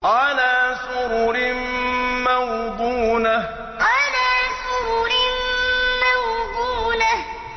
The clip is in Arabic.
عَلَىٰ سُرُرٍ مَّوْضُونَةٍ عَلَىٰ سُرُرٍ مَّوْضُونَةٍ